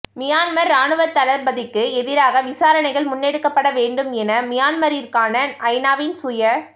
Myanmar இராணுவத்தளபதிக்கு எதிராக விசாரணைகள் முன்னெடுக்கப்பட வேண்டும் என மியன்மாரிற்கான ஐநாவின் சுய